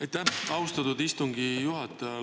Aitäh, austatud istungi juhataja!